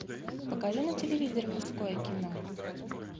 покажи на телевизоре мужское кино